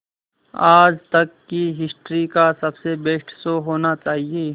आज तक की हिस्ट्री का सबसे बेस्ट शो होना चाहिए